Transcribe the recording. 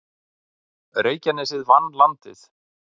Reykjanesið vann Landið